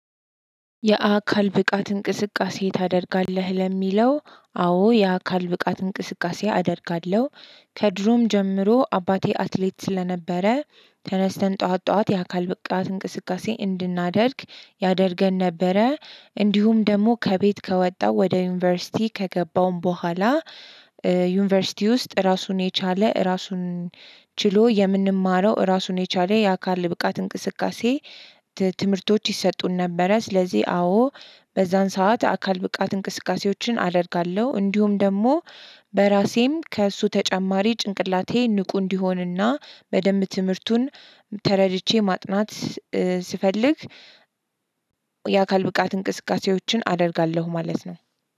የአካል ብቃት እንቅስቃሴ ታደርጋለህ ለሚለው አዎ የአካል ብቃት እንቅስቃሴ አደርጋለሁ። ከድሮም ጀምሮ አባቴ አትሌት ስለነበረ ተነስተን ጠዋት ጠዋት የአካል ብቃት እንቅስቃሴ እንድናደርግ ያደርገን ነበረ። እንዲሁም ደግሞ ከቤት ከወጣሁ ወደ ዩኒቨርሲቲ ከገባሁም በኋላ። ዩኒቨርሲቲ ውስጥ ራሱን የቻለ ራሱን ችሎ የምንማረው ራሱን የቻለ የአካል ብቃት እንቅስቃሴ ትምህርቶች ይሰጡን ነበረ። ስለዚህ አዎ በዛን ሰዓት አካል ብቃት እንቅስቃሴዎችን አደርጋለሁ። እንዲሁም ደግሞ በራሴም ከእሱ ተጨማሪ ጭንቅላቴ ንቁ እንዲሆንና በደንብ ትምህርቱን ተረድቼ ማጥናት ስፈልግ። የአካል ብቃት እንቅስቃሴዎችን አደርጋለሁ ማለት ነው።